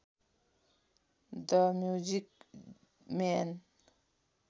the music man